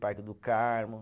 Parque do Carmo.